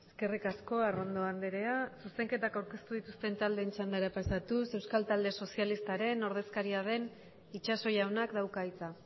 eskerrik asko arrondo andrea zuzenketak aurkeztu dituzten taldeen txandara pasatuz euskal talde sozialistaren ordezkaria den itxaso jaunak dauka hitza